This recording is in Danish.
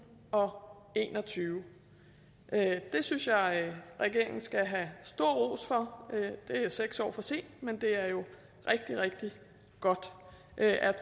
og en og tyve det synes jeg regeringen skal have stor ros for det er seks år for sent men det er jo rigtig rigtig godt at